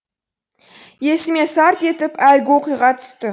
есіме сарт етіп әлгі оқиға түсті